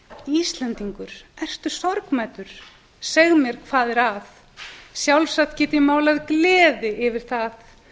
íslendingur ertu sorgmæddur seg mér hvað er að sjálfsagt get ég málað gleði yfir það